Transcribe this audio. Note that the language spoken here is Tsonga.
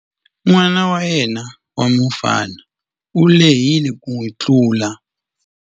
N'wana wa yena wa mufana u lehile ku n'wi tlula.